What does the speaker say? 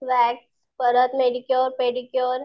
wax परत manicure, pedicure